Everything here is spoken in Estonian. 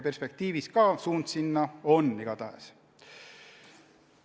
Perspektiivis suund sellele igatahes on.